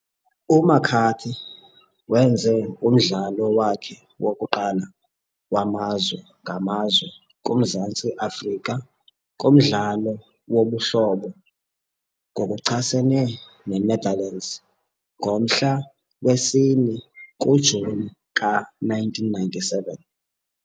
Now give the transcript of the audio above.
UMcCarthy wenze umdlalo wakhe wokuqala wamazwe ngamazwe kuMzantsi Afrika kumdlalo wobuhlobo ngokuchasene neNetherlands ngomhla wesi-4 kuJuni ka-1997.